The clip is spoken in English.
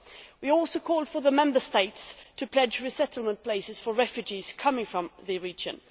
We also called for the Member States to pledge resettlement places for refugees coming from the region.